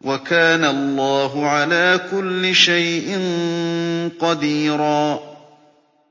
وَكَانَ اللَّهُ عَلَىٰ كُلِّ شَيْءٍ قَدِيرًا